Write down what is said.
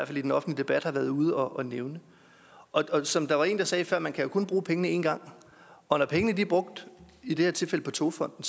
fald i den offentlige debat har været ude og nævne som der var en der sagde før kan man jo kun bruge pengene en gang og når pengene er brugt i det her tilfælde på togfonden